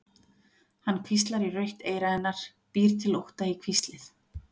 Hann hvíslar í rautt eyra hennar, býr til ótta í hvíslið.